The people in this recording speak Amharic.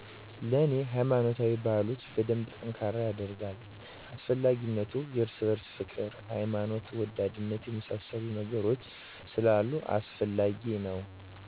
ለኔ ሃይማኖታዊ ባህላቶች በደንብ ጠንካራ የደርጋል። አስፈላጊነቱ የርስ በርስ ፍቅር፣ ሀይማኖት ወዳድነትን የመሳሰሉ ነገሮች ስላሉበት አስፈላጊ ነው